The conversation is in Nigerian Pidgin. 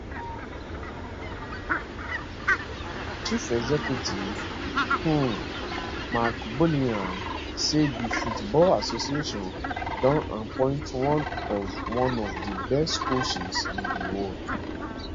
chief executive um mark bullingham say di football association don appoint one of one of di best coaches in di world